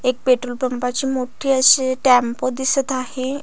एक पेट्रोल पंपा ची मोठी अशी टेम्पो दिसत आहे.